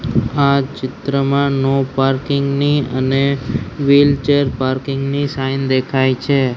આ ચિત્રમાં no parking ની અને વ્હીલચેર પાર્કિંગ ની સાઈન દેખાય છે.